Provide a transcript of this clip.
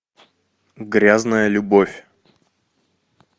грязная любовь